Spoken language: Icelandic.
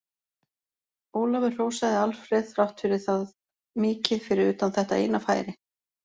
Ólafur hrósaði Alfreð þrátt fyrir það mikið fyrir utan þetta eina færi.